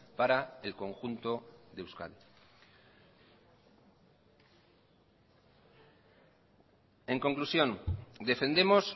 para el conjunto de euskadi en conclusión defendemos